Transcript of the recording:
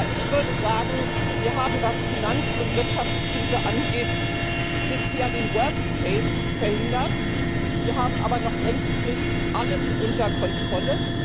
Ich würde sagen, wir haben was Finanz und Wirtschaftskrise angeht bisher den verhindert, wir haben aber noch längst nicht alles unter Kontrolle.